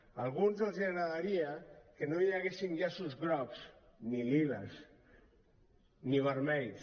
a alguns els agradaria que no hi haguessin llaços grocs ni liles ni vermells